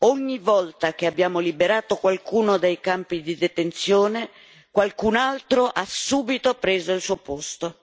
Ogni volta che abbiamo liberato qualcuno dai campi di detenzione, qualcun altro ha subito preso il suo posto.